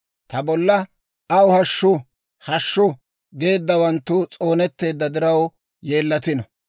Ta bolla, «Aw hashshu! Hashshu!» geeddawanttu s'oonetteedda diraw, yeellatino.